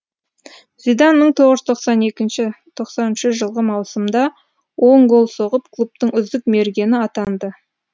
зидан мың тоғыз жүз тоқсан екінші тоқсан үшінші жылғы маусымда он гол соғып клубтың үздік мергені атанды